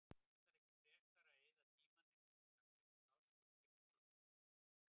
Ættirðu ekki frekar að eyða tímanum í að finna laus pláss fyrir leikskólabörn?